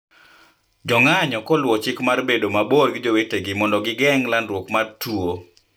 Jo ng'anyo koluwo chik mar bedo mabor gi jowetegi mondo gigeng ' landruok mar tuo